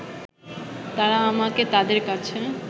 তারা আমাকে তাদের কাছে